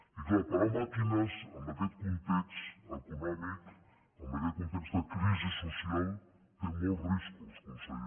i clar parar màquines amb aquest context econòmic amb aquest context de crisi social té molts riscos conseller